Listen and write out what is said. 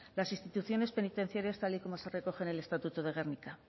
las instituciones penitenciarias tal y como se recoge en el estatuto de gernika